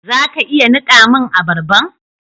Za ka iya nika mun abarban?